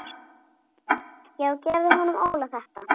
Já gefðu honum Óla þetta.